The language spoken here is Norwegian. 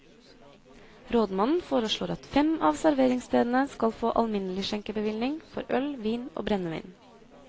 Rådmannen foreslår at fem av serveringsstedene skal få alminnelig skjenkebevilling for øl, vin og brennevin.